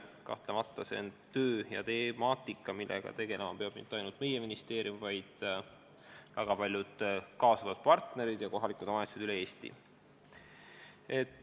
Kahtlemata see on töö ja temaatika, millega ei pea tegelema ainult meie ministeerium, vaid ka väga paljud kaasatud partnerid ja kohalikud omavalitsused üle Eesti.